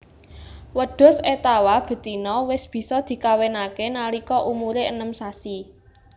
Wedhus étawa betina wis bisa dikawinake nalika umure enem sasi